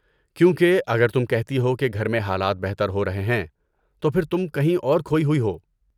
کیونکہ، اگر تم کہتی ہو کہ گھر میں حالات بہتر ہو رہے ہیں، تو پھر تم کہیں اور کھوئی ہوئی ہو۔